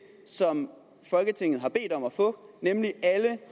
som folketinget har bedt om at få nemlig alle